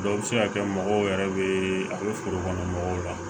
Dɔw bɛ se ka kɛ mɔgɔw yɛrɛ bɛ a bɛ foro kɔnɔ mɔgɔw la